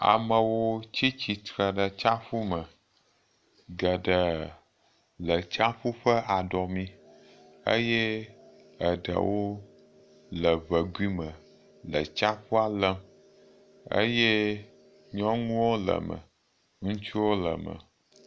Amewo tsi tsitre ɖe tsaƒu me keke le tsaƒu ƒe aɖɔmi eye eɖewo le ŋe kui me le tsaƒua lém eye nyɔŋuwo le me. Ŋutsuwo le me.